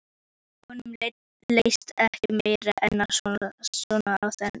Honum leist ekki meira en svo á þennan rum.